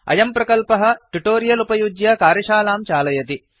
अयं प्रकल्पः ट्युटोरियल उपयुज्य कार्यशालां चालयति